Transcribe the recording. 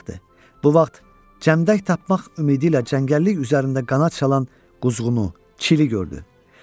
Bu vaxt Cəmdək tapmaq ümidi ilə cəngəllik üzərində qanad çalan Quzğunu, Çili gördü.